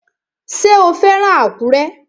Ṣé o fẹ́ràn Àkúrẹ́?